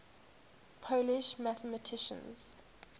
polish mathematicians